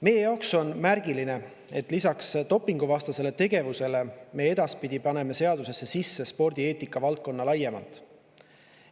Meie jaoks on märgiline, et lisaks dopinguvastasele tegevusele sisaldab seadus edaspidi spordieetika valdkonda laiemalt.